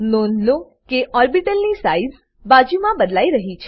નોંધ લો કે ઓર્બીટલની સાઈઝ બાજુ માં બદલાઈ રહી છે